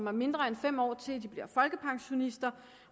har mindre end fem år til de bliver folkepensionister